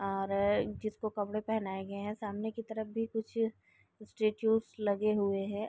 और जिसको कपड़े पहनाये गए है सामने की तरफ भी कुछ लगे हुए है।